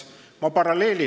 Toon paralleeli.